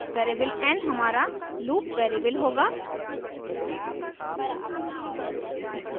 variable n हमारा loop variable होगा